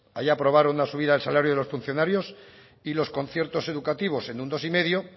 allí aprobaron una subida de salarios de los funcionarios y los conciertos educativos en un dos coma cinco